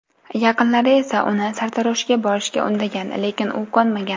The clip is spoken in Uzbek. Yaqinlari esa uni sartaroshga borishga undagan, lekin u ko‘nmagan.